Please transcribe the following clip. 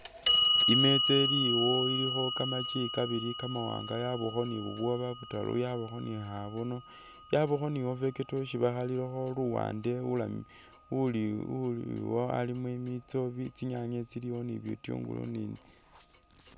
Imetsa ili awo ilikho kamakyi kabili kamawanga yabakho ni bubwoba butaru yabakho khabone yabakho ni avocado isi bakhalililkho luwande uliwo alimo i mitso tsinyanye tsiliyo ni butungu ni.